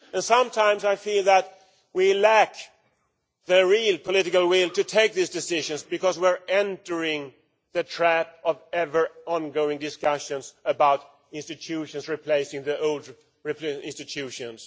Sometimes I feel that we lack the real political will to take these decisions because we fall into the trap of ever ongoing discussions about institutions to replace the old institutions.